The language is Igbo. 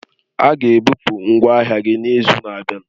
A ga-ebupu ngwa ahịa gị n'izu na-abịa.